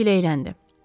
Buk giləyləndi.